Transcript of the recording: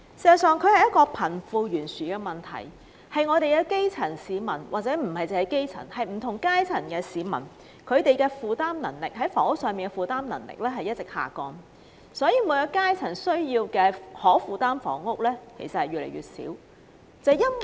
事實上，這涉及貧富懸殊，問題的核心在於基層市民，甚或不同階層市民負擔房屋的能力一直下降，即每一階層市民所能負擔的房屋，其實是越來越少。